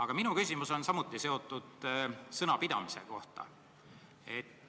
Kuid minu küsimus on samuti sõnapidamise kohta.